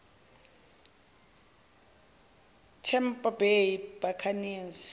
tampa bay buccaneers